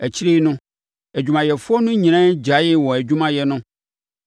Akyire no, adwumayɛfoɔ no nyinaa gyaee wɔn adwumayɛ no